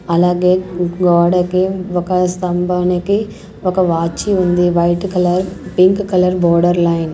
అలాగే గోడకి ఒక స్తంభానికి ఒక వాచి ఉంది white colour pink colour border line .